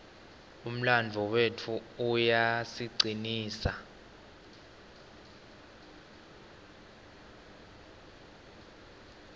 umlandvo wetfu uyasicinisa